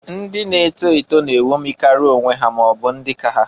Ndị na-eto eto na-enwomikari onwe ha ma ọbụ ndị ka ha.